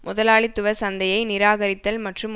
முதலாளித்துவ சந்தையை நிராகரித்தல் மற்றும்